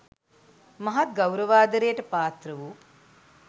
මහත් ගෞරවාදරයට පාත්‍ර වූ